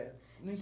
Não